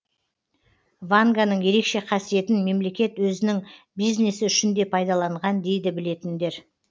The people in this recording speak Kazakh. ванганың ерекше қасиетін мемлекет өзінің бизнесі үшін де пайдаланған дейді білетіндер